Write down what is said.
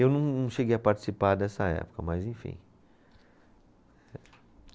Eu não, não cheguei a participar dessa época, mas enfim.